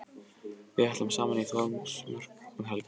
Við ætlum saman í Þórsmörk um helgina.